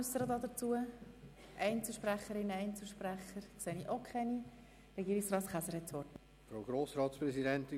Es gibt keine Wortmeldungen seitens von Fraktionen oder Einzelsprecherinnen und Einzelsprechern.